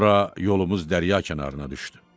Sonra yolumuz dərrya kənarına düşdü.